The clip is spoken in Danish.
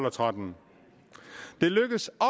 og tretten det lykkedes